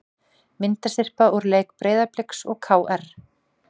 Myndasyrpa úr leik Breiðabliks og KR